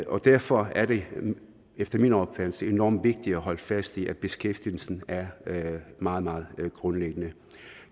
derfor er det efter min opfattelse enormt vigtigt at holde fast i at beskæftigelsen er meget meget grundlæggende